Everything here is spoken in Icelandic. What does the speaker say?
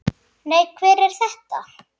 Nei, hver er þetta?